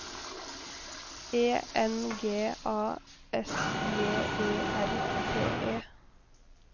E N G A S J E R T E